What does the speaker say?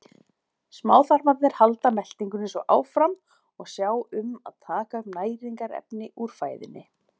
Smáþarmar halda meltingunni svo áfram og sjá um að taka upp næringarefni úr fæðunni.